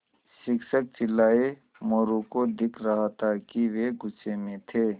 शिक्षक चिल्लाये मोरू को दिख रहा था कि वे गुस्से में थे